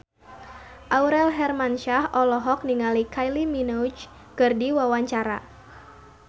Aurel Hermansyah olohok ningali Kylie Minogue keur diwawancara